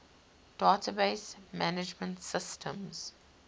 database management systems